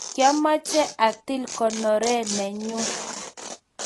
kamoche atil konore nenyu.